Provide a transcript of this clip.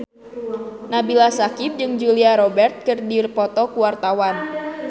Nabila Syakieb jeung Julia Robert keur dipoto ku wartawan